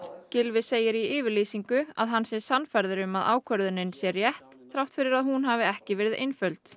Gylfi segir í yfirlýsingu að hann sé sannfærður um að ákvörðunin sé rétt þrátt fyrir að hún hafi ekki verið einföld